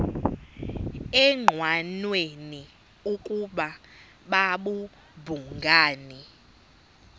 engqanweni ukuba babhungani